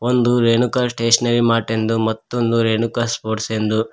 ಒಂದು Renuka stationery mart ಎಂದು ಮತ್ತೊಂದು ರೇಣುಕಾ ಸ್ಪೋರ್ಟ್ಸ್ ಎಂದು--